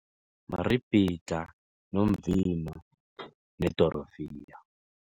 Maribhidlha nomvilo nedorofiya.